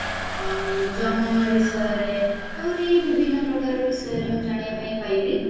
ଆଉ ଜନନ ବିଷୟରେ ଆହୁରି ବିଭିନ୍ନ ବିଷୟରେ ମୁଁ ଜାଣିବା ପାଇଁ ପାଇଲି